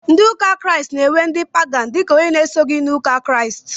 Ndị ụka Kraịst na- ewe ndị " pagan" dika ónyé na- esoghi n' ụka Kraịst.